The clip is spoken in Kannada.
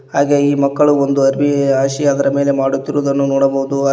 ಹಾಗೆ ಈ ಮಕ್ಕಳು ಒಂದು ಅರಬಿ ಹಾಸಿ ಅದರ ಮೇಲೆ ಮಾಡುತ್ತಿರುವದನ್ನು ನೋಡಬಹುದು ಹಾಗೆ--